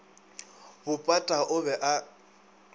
bo pata o be a